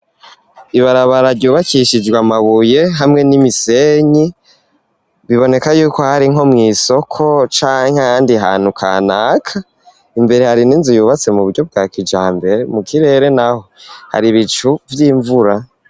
Ibarabara ryubakishijwe amabuye hamwe n'imisenyi biboneka yuko hari nko mw'isoko canke ahandi hantu kanaka imbere hari n'inzu yubatse mu buryo bwa kijambere mu kirere naho hari ibicu vy'imvura.